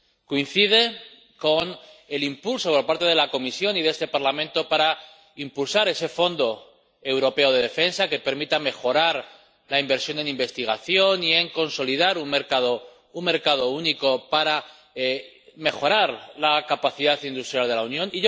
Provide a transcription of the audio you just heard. Coincide con el impulso por parte de la Comisión y de este Parlamento para promover ese Fondo Europeo de Defensa que permita mejorar la inversión en investigación y consolidar un mercado único para mejorar la capacidad industrial de la Unión.